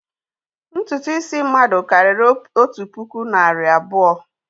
Ntutu isi mmadụ karịrị otu puku nari abuo